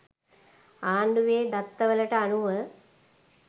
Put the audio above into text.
ආණ්ඩුවේ දත්තවලට අනුව